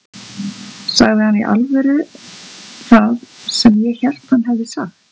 Sagði hann í alvöru það sem ég hélt að hann hefði sagt?